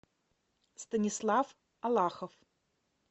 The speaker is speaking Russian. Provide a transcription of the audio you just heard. станислав алахов